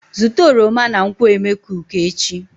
Zụta oroma na nkwo emekuku echi?